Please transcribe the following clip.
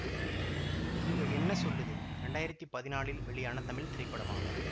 இங்க என்ன சொல்லுது இரண்டாயிரத்தி பதினாலில் வெளியான தமிழ் திரைப்படமாகும்